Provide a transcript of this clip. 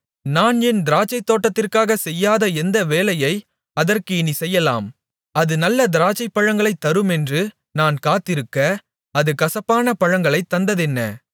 நான் என் திராட்சைத்தோட்டத்திற்காகச் செய்யாத எந்த வேலையை அதற்கு இனிச் செய்யலாம் அது நல்ல திராட்சைப்பழங்களைத் தருமென்று நான் காத்திருக்க அது கசப்பான பழங்களைத் தந்ததென்ன